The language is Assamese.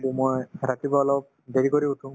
so, মই ৰাতিপুৱা অলপ দেৰি কৰি উঠো